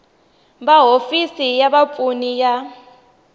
va hofisi ya vapfuni ya